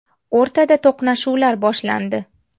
O‘rtada to‘qnashuvlar boshlandi.